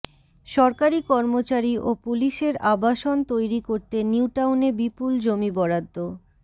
সরকারি কর্মচারী ও পুলিশের আবাসন তৈরি করতে নিউটাউনে বিপুল জমি বরাদ্দ